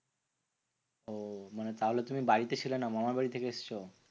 ওহ মানে তাহলে তুমি বাড়িতে ছিলে না। মামার বাড়ি থেকে এসেছো?